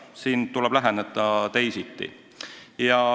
Siin tuleb läheneda teisiti.